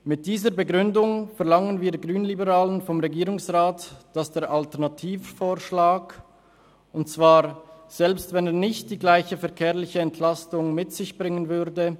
Mit dieser Begründung verlangen wir Grünliberalen vom Regierungsrat, dass der Alternativvorschlag im Detail geprüft wird, auch wenn er nicht die gleiche verkehrliche Entlastung mit sich bringen würde.